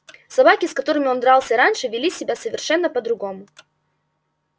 собаки с которыми он дрался раньше вели себя совершенно по другому